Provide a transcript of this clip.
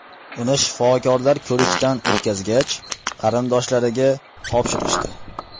Uni shifokorlar ko‘rikdan o‘tkazgach, qarindoshlariga topshirishdi.